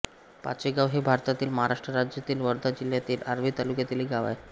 पाचेगाव हे भारतातील महाराष्ट्र राज्यातील वर्धा जिल्ह्यातील आर्वी तालुक्यातील एक गाव आहे